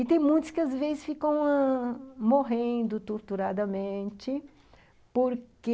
E tem muitos que, às vezes, ficam ãh... morrendo torturadamente porque...